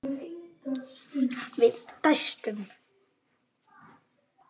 Við dæstum.